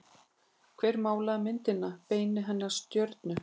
Hver málaði myndina Beinin hennar stjörnu?